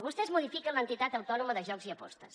vostès modifiquen l’entitat autònoma de jocs i apostes